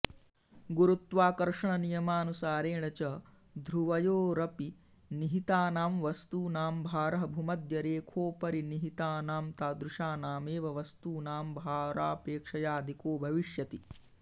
गुरुत्वाकर्षणनियमानुसारेण च ध्रुवयोरपिनिहितानां वस्तूनां भारः भुमध्यरेखोपरिनिहितानांतादृशानामेव वस्तूनांभारापेक्षयाअधिको भविष्यति